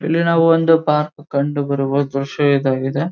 ಇಲ್ಲಿ ಒಂದು ಪಾರ್ಕ್ ಕಂಡುಬರುವ ದೃಶ್ಯ ಇದಾಗಿದೆ.